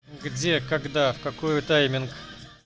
где когда в какую тайминг